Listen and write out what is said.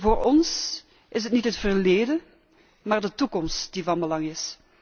Voor ons is het niet het verleden, maar de toekomst die van belang is.